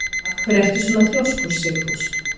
Af hverju ertu svona þrjóskur, Sigfús?